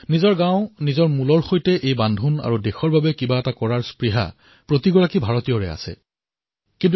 নিজৰ গাঁও নিজৰ ভেঁটি আৰু দেশৰ বাবে কিবা এটা কৰি দেখুওৱাৰ ভাব প্ৰতিগৰাকী ভাৰতীয়ৰ অধীনত স্বাভাৱিক ৰূপতে থাকে